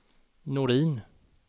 Norin